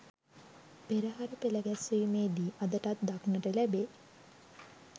පෙරහර පෙළ ගැස්වීමේ දී අදටත් දක්නට ලැබේ.